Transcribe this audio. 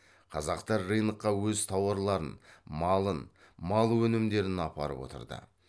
қазақтар рынокқа өз тауарларын малын мал өнімдерін апарып отырды